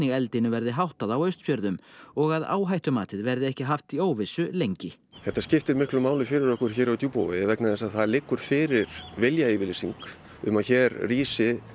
eldinu verði háttað á Austfjörðum og að áhættumatið verði ekki haft í óvissu lengi þetta skiptir miklu máli fyrir okkur hér á Djúpavogi vegna þess að það liggur fyrir viljayfirlýsing um að hér rísi